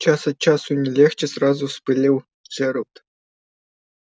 час от часу не легче сразу вспылил джералд